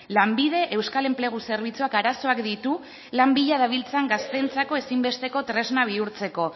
lanbide euskal enplegu zerbitzuak arazoak ditu lan bila dabiltzan gazteentzako ezinbesteko tresna bihurtzeko